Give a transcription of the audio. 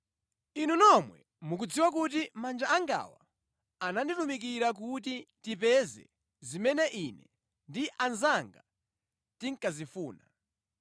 Inu nomwe mukudziwa kuti manja angawa ananditumikira kuti tipeze zimene ine ndi anzanga tinkazifuna.